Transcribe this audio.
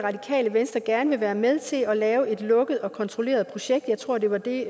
at radikale venstre gerne vil være med til at lave et lukket og kontrolleret projekt jeg tror det var det